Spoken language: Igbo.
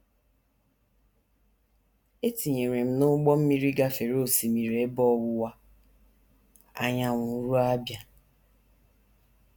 E tinyere m n’ụgbọ mmiri gafere Osimiri Ebe Ọwụwa Anyanwụ ruo Abia.